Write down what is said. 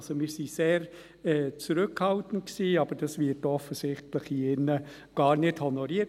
Also wir waren sehr zurückhaltend, aber dies wird offensichtlich hier in diesem Saal gar nicht honoriert.